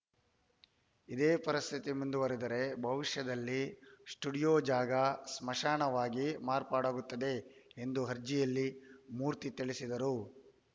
ಇದೇ ಪರಿಸ್ಥಿತಿ ಮುಂದುವರಿದರೆ ಭವಿಷ್ಯದಲ್ಲಿ ಸ್ಟುಡಿಯೋ ಜಾಗ ಸ್ಮಶಾನವಾಗಿ ಮಾರ್ಪಾಡಾಗುತ್ತದೆ ಎಂದು ಅರ್ಜಿಯಲ್ಲಿ ಮೂರ್ತಿ ತಿಳಿಸಿದ್ದರು